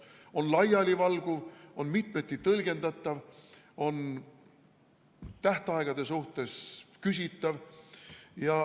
See on laialivalguv, mitmeti tõlgendatav, tähtaegade suhtes küsitav.